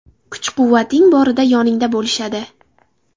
Kuch-quvvating borida yoningda bo‘lishadi.